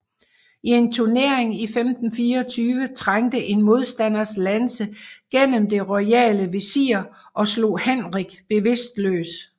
I en turnering i 1524 trængte en modstanders lanse gennem det royale visir og slog Henrik bevidstløs